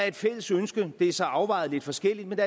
et fælles ønske det er så afvejet lidt forskelligt